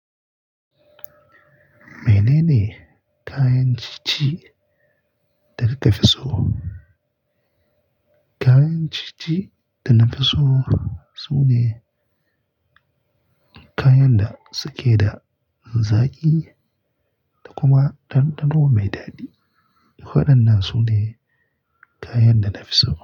Menene kayan cici da kika fi so? Kayan cici da na fi so sune kayan da suke da zaƙi da kuma ɗanɗano mai daɗi. Waɗannan sune kayan da na fi so.